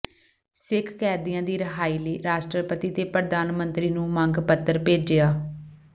ਸਿੱਖ ਕੈਦੀਆਂ ਦੀ ਰਿਹਾਈ ਲਈ ਰਾਸ਼ਟਰਪਤੀ ਤੇ ਪ੍ਰਧਾਨ ਮੰਤਰੀ ਨੂੰ ਮੰਗ ਪੱਤਰ ਭੇਜਿਆ